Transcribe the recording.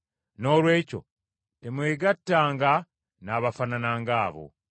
Noolwekyo temwegattanga n’abafaanana ng’abo.